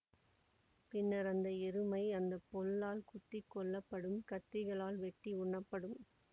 பின்னர் அந்த எருமை அந்த பொல்லால் குத்தி கொள்ளப்படும் கத்திகளால் வெட்டி உண்ணப்படும்